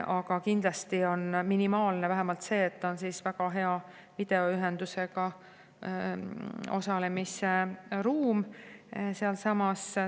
Aga kindlasti on minimaalne, et on väga hea videoühenduse kaudu osalemise ruum sealsamas.